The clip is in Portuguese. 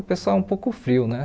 O pessoal é um pouco frio, né?